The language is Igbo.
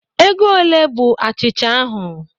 Ego olee bụ achịcha ahụ?